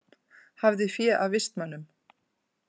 Hafði fé af vistmönnum